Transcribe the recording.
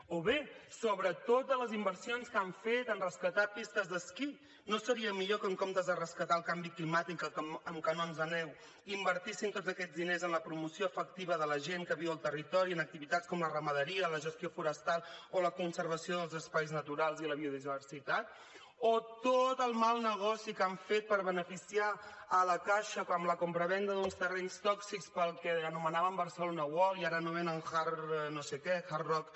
o bé sobre totes les inversions que han fet han rescatat pistes d’esquí no seria millor que en comptes de rescatar el canvi climàtic amb canons de neu invertissin tots aquests diners en la promoció efectiva de la gent que viu al territori amb activitats com la ramaderia la gestió forestal o la conservació dels espais naturals i la biodiversitat o tot el mal negoci que han fet per beneficiar la caixa amb la compravenda d’uns terrenys tòxics per al que anomenaven barcelona world i ara anomenen hard no sé què hard rock